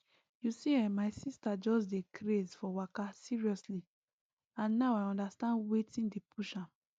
you see[um]my sister just dey craze for waka seriously and now i understand wetin dey push am